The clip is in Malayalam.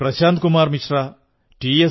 പ്രശാന്ത് കുമാർ മിശ്ര ടി